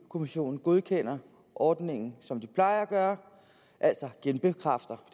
kommissionen godkender ordningen som de plejer at gøre altså genbekræfter